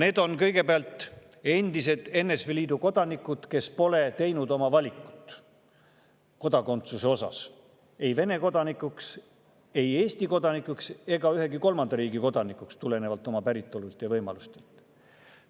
Need on kõigepealt endised NSV Liidu kodanikud, kes pole teinud oma valikut kodakondsuse osas, ei Vene kodakondsust, ei Eesti kodakondsust ega ühegi kolmanda riigi kodakondsust tulenevalt oma päritolust ja võimalustest.